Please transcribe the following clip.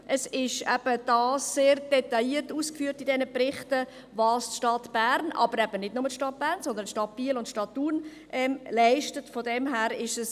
Es ist in den Berichten sehr detailliert ausgeführt, was die Stadt Bern leistet, aber nicht nur die Stadt Bern, sondern auch die Stadt Biel und die Stadt Thun leisten.